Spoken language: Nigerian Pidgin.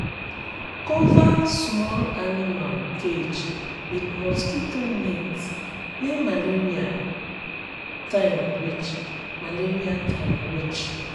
cover small animal cage with mosquito net when malaria time reach. malaria time reach.